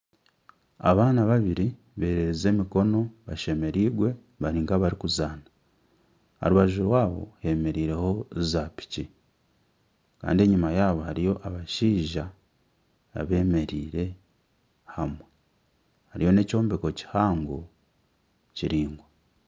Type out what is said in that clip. Abaana babiri bererize emikono bashemereirwe bari nka abarikuzaana. Aharubaju rwaabo hemereire ho za piki Kandi enyima yaabo hariyo abashaija abemereire hamwe. Hariyo n'ekyombeko kihango kiringwa